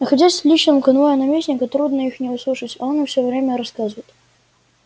находясь в личном конвое наместника трудно их не услышать а он все мне рассказывает